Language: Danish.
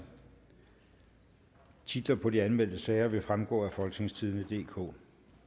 titlerne på de anmeldte sager vil fremgå af folketingstidende DK